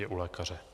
Je u lékaře.